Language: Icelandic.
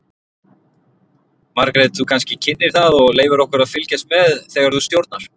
Margrét þú kannski kynnir það og leyfir okkur að fylgjast með þegar þú stjórnar?